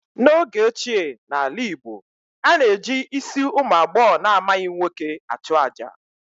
N'oge ochie n'ala Igbo, a na-eji isi ụmụ agbọghọ na-amaghị nwoke achụ àjà